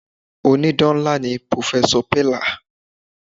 Ònídán ńlá ni pròfẹ́sọ̀ pẹ̀là.